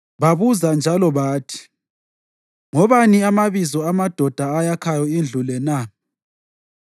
Babuza njalo bathi, “Ngobani amabizo amadoda ayakhayo indlu le na?”